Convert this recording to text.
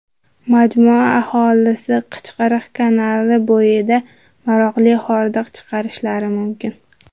Majmua aholisi Qichqiriq kanali bo‘yida maroqli hordiq chiqarishlari mumkin.